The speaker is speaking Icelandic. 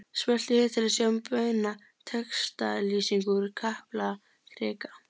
Smelltu hér til að sjá beina textalýsingu úr Kaplakrika